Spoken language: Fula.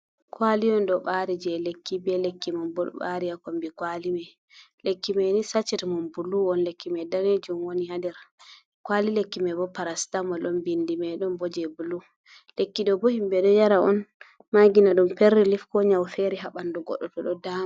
Kwali on ɗo ɓari je lekki be lekki man bo ɓari ha kombi kwali mai, lekki mai ni sacit man bulu on lekki mai danejum woni ha nder, kwali lekki mai bo parastamol on bindi mai ɗon bo je bulu, lekki ɗo bo himɓɓe ɗo yara on magina ɗum pen rilif ko nyau fere ha ɓanɗu goɗɗo to ɗo dama.